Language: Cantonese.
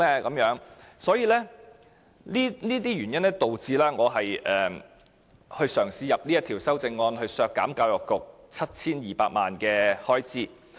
基於這些原因，我嘗試提出這項修正案，旨在削減教育局 7,200 萬元預算開支。